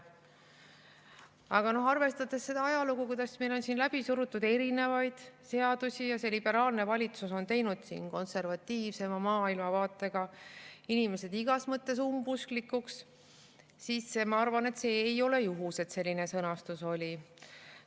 Aga arvestades seda ajalugu, kuidas meil on siin läbi surutud erinevaid seadusi, ja seda, et see liberaalne valitsus on teinud konservatiivsema maailmavaatega inimesed igas mõttes umbusklikuks, siis ma arvan, et see ei ole juhus, et selline sõnastus siin oli.